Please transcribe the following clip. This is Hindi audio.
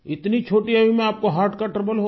इतनी छोटी आयु में आप को हर्ट का ट्रबल हो गया